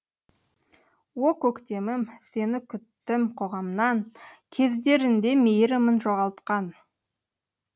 о көктемім сені күттім қоғамнан кездерінде мейірімін жоғалтқан